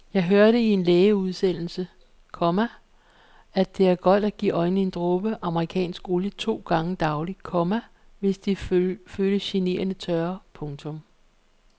Jeg hørte i en lægeudsendelse, komma at det er godt at give øjnene en dråbe amerikansk olie to gange daglig, komma hvis de føles generende tørre. punktum